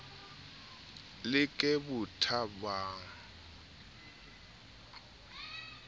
le ke bothabang o a